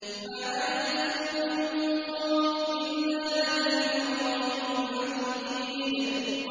مَّا يَلْفِظُ مِن قَوْلٍ إِلَّا لَدَيْهِ رَقِيبٌ عَتِيدٌ